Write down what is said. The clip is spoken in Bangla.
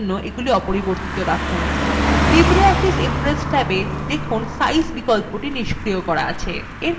ilibreoffice impress ট্যাবে দেখুন size বিকল্পটি নিস্ক্রিয় করা আছে